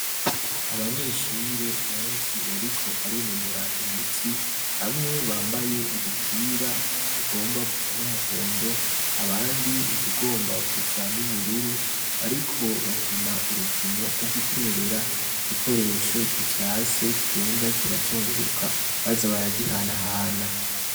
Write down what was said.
Abanyeshure benshi bariko barinonora imitsi; bamwe bambaye udupira tugomba gusa n'umuhondo, abandi utugomba gusa n'ubururu, bariko bakina urukino rwo guterera igikoresho gifyase, kigenda kirazunguruka, baza baragihanahana.